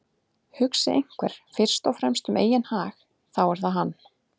Hugsi einhver fyrst og fremst um eigin hag þá er það hann.